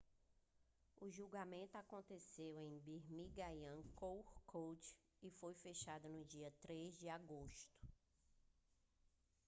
o julgamento aconteceu em birmingham crown court e foi fechado no dia 3 de agosto